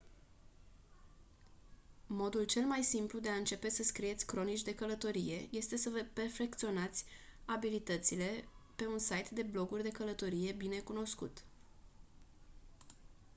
modul cel mai simplu de a începe să scrieți cronici de călătorie este să vă perfecționați abilitățile pe un site de bloguri de călătorie bine cunoscut